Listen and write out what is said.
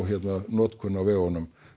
notkun á vegunum